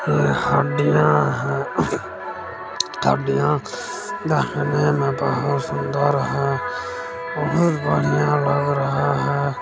यह हड्डियाँ हैं हड्डियाँ देखने में बहुत सूंदर है बहुत बढ़िया लग रहा लग रहा हैं।